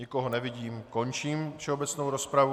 Nikoho nevidím, končím všeobecnou rozpravu.